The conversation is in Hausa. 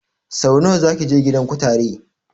Sau nawa zaki je gidan kutare?